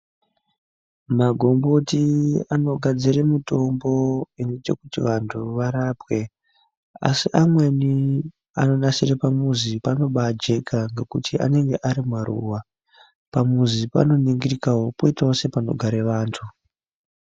Magomboti anogadzire mutombo inoite kuti vanthu varapwe asi amweni anonasire pamuzi panobaajeka ngekuti anenge ari maruwa. Pamuzi panoningirikawo poitawo sepanogare vantu.